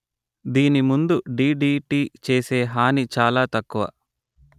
దీని ముందు డిడిటి చేసే హాని చాలా తక్కువ